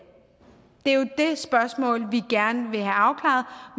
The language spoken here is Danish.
spørgsmål vi gerne vil have afklaret